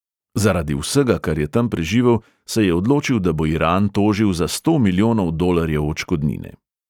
Zaradi vsega, kar je tam preživel, se je odločil, da bo iran tožil za sto milijonov dolarjev odškodnine.